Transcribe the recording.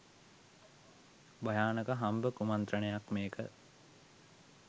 භයානක හම්බ කුමණ්ත්‍රනයක් මේක